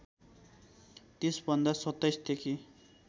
त्यसभन्दा २७ देखि